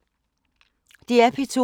DR P2